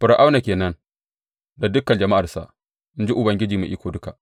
Fir’auna ke nan da dukan jama’arsa, in ji Ubangiji Mai Iko Duka.